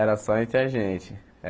Era só entre a gente.